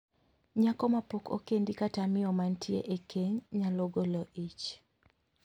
Nyako mapok okendi kata miyo mantie e keny nyalo golo ich.